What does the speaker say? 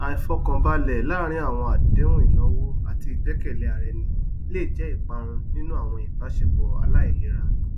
àìfọkànbalẹ láàárín àwọn àdéhùn ináwó àti ìgbẹkẹlé ara ẹni lè jẹ iparun nínú àwọn ìbáṣepọ aláìlera